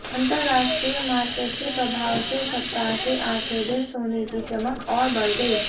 अंतरराष्ट्रीय मार्केट के प्रभाव से सप्ताह के आखिर दिन सोने की चमक और बढ़ गई